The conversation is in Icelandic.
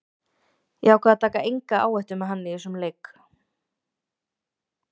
Ég ákvað að taka enga áhættu með hann í þessum leik.